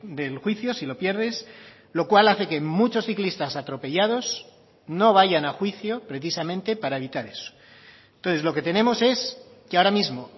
del juicio si lo pierdes lo cual hace que muchos ciclistas atropellados no vayan a juicio precisamente para evitar eso entonces lo que tenemos es que ahora mismo